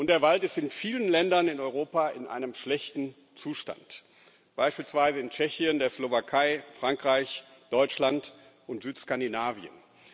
Der Wald ist in vielen Ländern in Europa in einem schlechten Zustand, beispielsweise in Tschechien, der Slowakei, Frankreich, Deutschland und Südskandinavien.